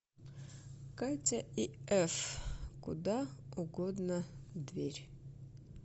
катя и эф куда угодно дверь